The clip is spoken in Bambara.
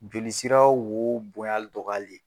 Joli sira wo bonyal dɔgɔyali ye